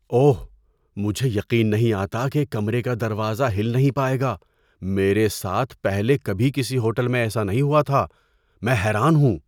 اوہ، مجھے یقین نہیں آتا کہ کمرے کا دروازہ ہل نہیں پائے گا! میرے ساتھ پہلے کبھی کسی ہوٹل میں ایسا نہیں ہوا تھا۔ میں حیران ہوں!